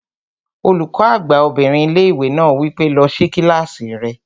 Olùkọ́ àgbà obìnrin ilé-ìwé náà wí pé, "lọ sí kílásì rẹ!"